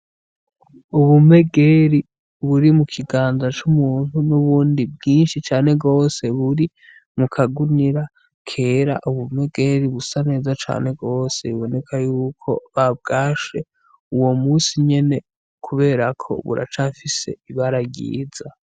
Ubumegeri buri mu kiganza c’umuntu nubundi bwinshi cane gose buri mu kagunira kera, ubumegeri busa neza cane gose aruko babwashe uwo munsi nyene kubera ko buracafise ibara ryiza.